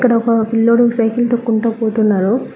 ఇక్కడొక పిల్లోడు సైకిల్ తొక్కుంటా పోతున్నారు.